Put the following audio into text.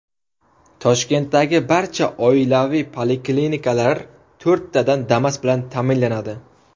Toshkentdagi barcha oilaviy poliklinikalar to‘rttadan Damas bilan ta’minlanadi.